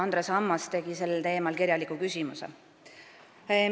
Andres Ammas tegi sel teemal kirjaliku küsimuse.